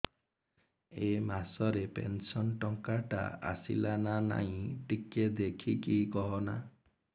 ଏ ମାସ ରେ ପେନସନ ଟଙ୍କା ଟା ଆସଲା ନା ନାଇଁ ଟିକେ ଦେଖିକି କହନା